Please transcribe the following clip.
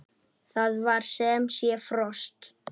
Það var sem sé frost.